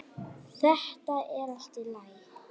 Þetta er allt í lagi.